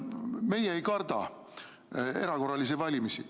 Meie ei karda erakorralisi valimisi.